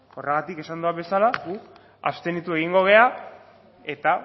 horregatik esan dudan bezala guk abstenitu egongo gara eta